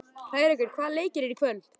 Hrærekur, hvaða leikir eru í kvöld?